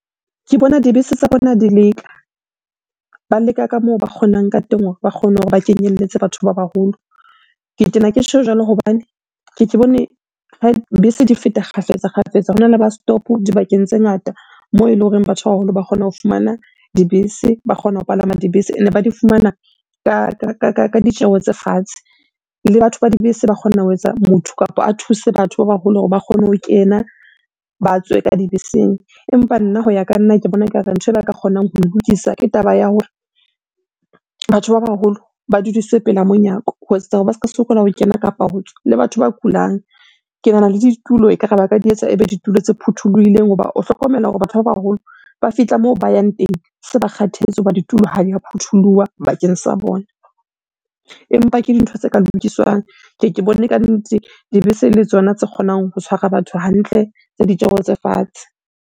Ke bona dibese tsa bona di leka, ba leka ka moo ba kgonang ka teng hore ba kgone hore ba kenyelletse batho ba baholo. Ke tena ke tjho jwalo hobane keke bone bese di feta kgafetsa-kgafetsa. Hona le bus stop dibakeng tse ngata moo eleng hore batho ba baholo ba kgona ho fumana dibese, ba kgona ho palama dibese. Ene ba di fumana ka ditjeho tse fatshe. Le batho ba dibese ba kgona ho etsa motho kapa a thuse batho ba baholo hore ba kgone ho kena, ba tswe ka dibeseng. Empa nna hoya ka nna, ke bona ekare ntho e ba ka kgonang ho lokisa ke taba ya hore batho ba baholo ba dudiswe pela monyako ho etsetsa hore ba sokola ho kena kapa ho tswa. Le batho ba kulang, ke nahana le ditulo ekare ba ka di etsa ebe ditulo tse phuthulohileng. Hoba o hlokomela hore batho ba baholo ba fihla moo ba yang teng se ba kgathetse hoba ditulo ha di a phuthuloha bakeng sa bona. Empa ke dintho tse ka lokiswang, ke ye ke bone kannete dibese ele tsona tse kgonang ho tshwara batho hantle, tse ditjeho tse fatshe.